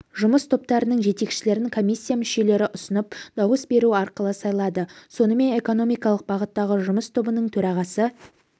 жұмыс топтарының жетекшілерін комиссия мүшелері ұсынып дауыс беру арқылы сайлады сонымен экономикалық бағыттағы жұмыс тобының төрағасы